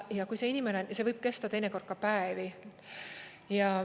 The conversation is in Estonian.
Ja kui see inimene on, see võib kesta teinekord ka päevi.